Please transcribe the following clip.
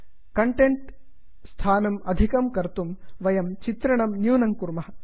content स्थानं अधिकं कर्तुं वयं चित्रणं न्यूनं कुर्मः